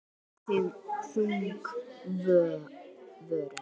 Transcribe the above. Þung vörn.